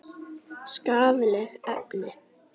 Skaðleg efni.